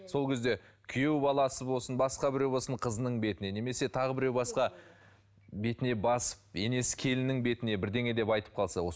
сол кезде күйеу баласы болсын басқа біреу болсын қызының бетіне немесе тағы біреу басқа бетіне басып енесі келіннің бетіне бірдеңе деп айтып қалса осы